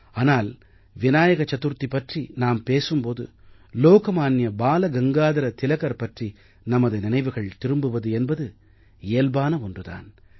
ஆனால் விநாயக சதுர்த்தி பற்றி நாம் பேசும் போது லோகமான்ய பால கங்காதர திலகர் பற்றி நமது நினைவுகள் திரும்புவது என்பது இயல்பான ஒன்று தான்